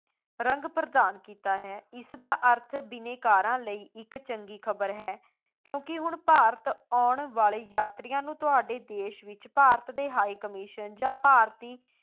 ਰੰਗ ਪ੍ਰਦਾਨ ਕੀਤਾ ਹੈ, ਇਸਦਾ ਅਰਥ ਬਿਨੇਕਾਰਾਂ ਲਈ ਇੱਕ ਚੰਗੀ ਖਬਰ ਹੈ, ਕਿਉਂਕਿ ਹੁਣ ਭਾਰਤ ਆਉਣ ਵਾਲੇ ਯਾਤਰੀਆਂ ਨੂੰ ਤੁਹਾਡੇ ਦੇਸ਼ ਵਿੱਚ ਭਾਰਤ ਦੇ high commission ਜਾਂ ਭਾਰਤੀ